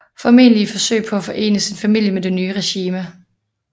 Formentlig i et forsøg på at forene sin familie med det nye regime